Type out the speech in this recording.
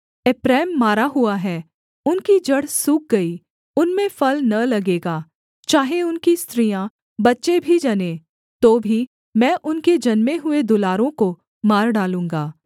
एप्रैम मारा हुआ है उनकी जड़ सूख गई उनमें फल न लगेगा चाहे उनकी स्त्रियाँ बच्चे भी जनें तो भी मैं उनके जन्मे हुए दुलारों को मार डालूँगा